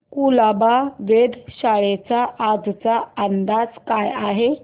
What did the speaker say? कुलाबा वेधशाळेचा आजचा अंदाज काय आहे